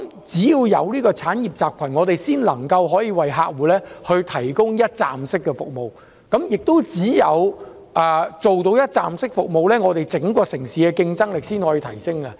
這個產業集群形成後，我們才能為客戶提供一站式服務，只有提供一站式服務，才能提升整個城市的競爭力。